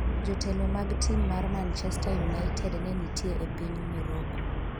jotelo mag tim mar manchester united ne nitie e piny Moroko